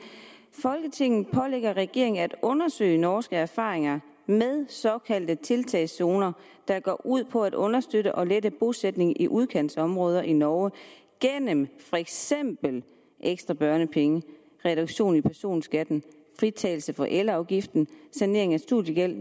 folketinget pålægger regeringen at undersøge norske erfaringer med såkaldte tiltagszoner der går ud på at understøtte og lette bosætningen i udkantsområder i norge gennem for eksempel ekstra børnepenge reduktion i personskatten fritagelse for elafgiften sanering af studiegæld